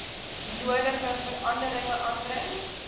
nodige veranderinge aanbring